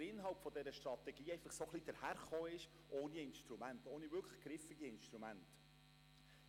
Weil der Inhalt der Strategie ohne wirklich griffige Instrumente dahergekommen ist.